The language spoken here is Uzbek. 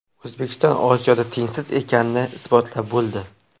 O‘zbekiston Osiyoda tengsiz ekanini isbotlab bo‘ldi.